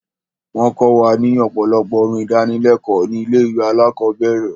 Wọ́n kọ wa ní ọ̀pọ̀lọpọ̀ orin ìdánilékòó ní ilé ìwé alákọ̀berẹ̀.